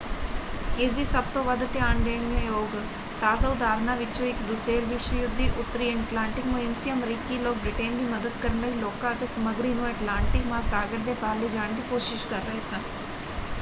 ਇਸਦੀ ਸਭ ਤੋਂ ਵੱਧ ਧਿਆਨ ਦੇਣ ਯੋਗ ਤਾਜ਼ਾ ਉਦਾਹਰਨਾਂ ਵਿੱਚੋਂ ਇੱਕ ਦੂਸੇਰ ਵਿਸ਼ਵ ਯੁੱਧ ਦੀ ਉੱਤਰੀ ਐਟਲਾਂਟਿਕ ਮੁਹਿੰਮ ਸੀ। ਅਮਰੀਕੀ ਲੋਕ ਬ੍ਰਿਟੇਨ ਦੀ ਮਦਦ ਕਰਨ ਲਈ ਲੋਕਾਂ ਅਤੇ ਸਮੱਗਰੀ ਨੂੰ ਐਟਲਾਂਟਿਕ ਮਹਾਸਾਗਰ ਦੇ ਪਾਰ ਲਿਜਾਣ ਦੀ ਕੋਸ਼ਿਸ਼ ਕਰ ਰਹੇ ਸਨ।